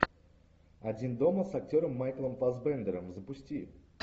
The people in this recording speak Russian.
один дома с актером майклом фассбендером запусти